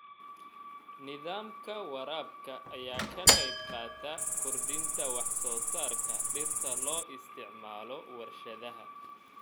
Nidaamka waraabka ayaa ka qaybqaata kordhinta wax-soo-saarka dhirta ee loo isticmaalo warshadaha.